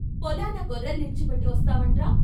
పొలాన గొర్రెల్నిడిచిపెట్టి వస్తావంట్రా?